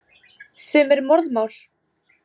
Sem er morðmál.